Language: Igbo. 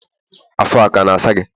afọ ọ kana asa gi?